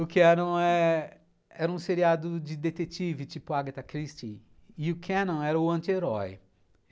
O Canon é... era um seriado de detetive, tipo Agatha Christie, e o Canon era o anti-herói.